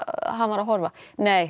hann var að horfa nei